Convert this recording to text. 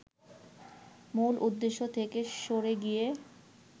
মূল উদ্দেশ্য থেকে সরে গিয়ে